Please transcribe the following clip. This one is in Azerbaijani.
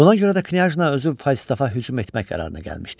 Buna görə də Knyazna özü Falstafa hücum etmək qərarına gəlmişdi.